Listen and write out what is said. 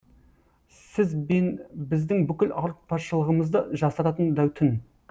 сіз бен біздің бүкіл ауыртпашылығымызды жасыратын да түн